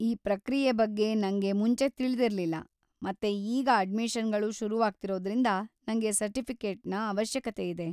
ಈ ಪ್ರಕ್ರಿಯೆ ಬಗ್ಗೆ ನಂಗೆ ಮುಂಚೆ ತಿಳಿದಿರ್ಲಿಲ್ಲ ಮತ್ತೇ ಈಗ ಅಡ್ಮಿಷನ್‌ಗಳು ಶುರುಆಗ್ತಿರೋದ್ರಿಂದ ನಂಗೆ ಸರ್ಟಿಫಿಕೇಟ್ನ ಅವಶ್ಯಕತೆಯಿದೆ.